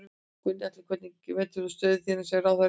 Gunnar Atli: Hvernig metur þú stöðu þína sem ráðherra í dag?